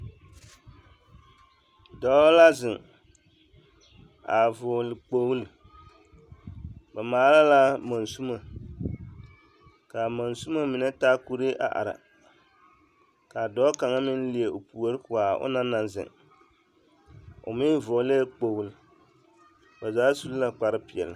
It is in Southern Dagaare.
Dɔɔ la zeŋ a vɔgele kpogili, ba maala la monsimo k'a monsimo mine taa kuree a are k'a dɔɔ kaŋ meŋ leɛ o puori ko a ona naŋ zeŋ, o meŋ vɔgelɛɛ kpogili, ba zaa su la kpare peɛle.